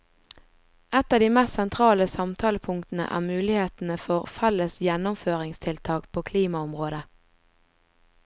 Et av de mest sentrale samtalepunktene er mulighetene for felles gjennomføringstiltak på klimaområdet.